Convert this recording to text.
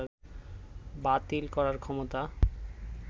বাতিল করার ক্ষমতা